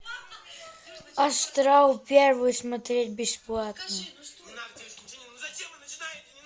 астрал первый смотреть бесплатно